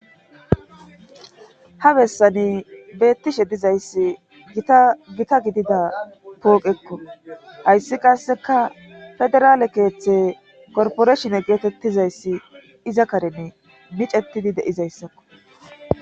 Ha bessani beettishe dizayssi tagita gidida pooqekko hayssi qasseka federaale keeththe korporeshin geetettizayssi iza karene micettidi deizayssakko.